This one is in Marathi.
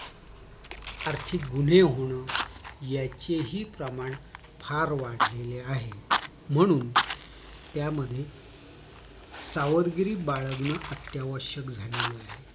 आर्थिक गुन्हे होणं याचे हि प्रमाण फार वाढलेले आहे म्हणून त्यामध्ये सावधगिरी बाळगणं अत्यावश्यक झालेलं आहे